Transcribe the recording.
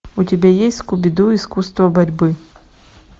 у тебя есть скуби ду искусство борьбы